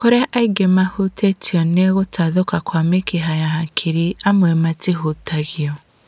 Kũrĩa aingĩ a arĩa mahutĩtio nĩ gũtathũka kwa mĩkiha ya hakiri, amwe matihutagio